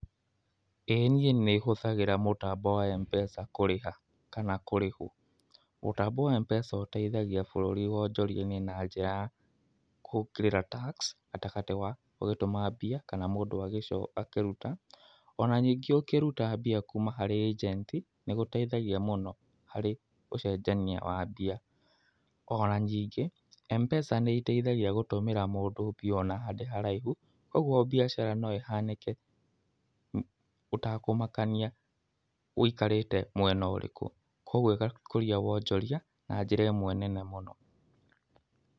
Ĩ niĩ nĩhũthagĩra mũtambo wa mpesa kũrĩha, kana kũrĩhwo. Mũtambo wa mpesa ũteithagia bũrũri wonjoria-inĩ na njĩra ya kũhĩtũkĩra taũĩ gatagatĩ ga ũgĩtũmambia, kana mũndũ agĩ ũkĩruta. Ona nyingĩ ũkĩruta mbia harĩ ĩgennti gũteithagia mũno harĩ ũcenjania wa mbeca ona nyingĩ, Mpesa nĩhuthĩaga gũtũmĩra mũndũ mbia ona e haraihu, ũguo gũtũma mbua ũtekumakania ũikarĩte mwena ũrĩkũ. Koguo ĩgakũria wanjoriana njĩra nene mũno.